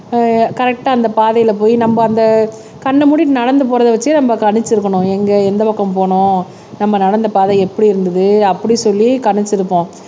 ஆஹ் கரெக்ட்டா அந்த பாதையில போய் நம்ம அந்த கண்ணை மூடிட்டு நடந்து போறதை வச்சே நம்ம கணிச்சிருக்கணும் எங்க எந்த பக்கம் போகணும் நம்ம நடந்த பாதை எப்படி இருந்தது அப்படி சொல்லி கணிச்சிருப்போம்.